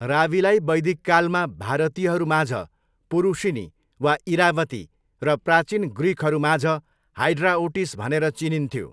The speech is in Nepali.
रावीलाई वैदिककालमा भारतीयहरू माझ पुरुषिनी वा इरावती र प्राचीन ग्रिकहरू माझ हाइड्राओटिस भनेर चिनिन्थ्यो।